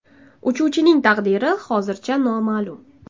Uchuvchining taqdiri hozircha noma’lum.